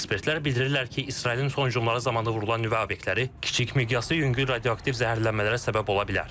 Ekspertlər bildirirlər ki, İsrailin son hücumları zamanı vurulan nüvə abəkləri kiçik miqyaslı yüngül radioaktiv zəhərlənmələrə səbəb ola bilər.